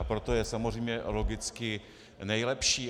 A proto je samozřejmě logicky nejlepší.